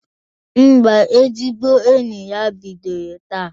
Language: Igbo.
Ḿbà, ezigbo enyi ha bidoro taa.